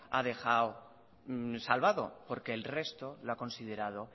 ha dejado salvado porque el resto lo ha considerado